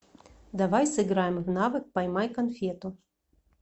давай сыграем в навык поймай конфету